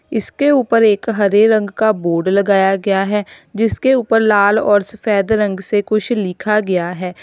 इसके उपर एक हरे रंग का बोर्ड लगाया गया है जिसके उपर लाल और सफेद रंग से कुछ लिखा गया है।